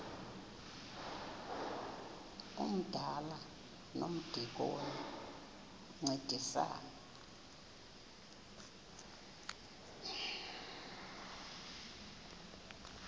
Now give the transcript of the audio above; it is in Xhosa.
umdala nomdikoni bayancedisana